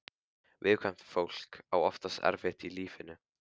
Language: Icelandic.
Viðkvæmt fólk á oftast erfitt í lífinu.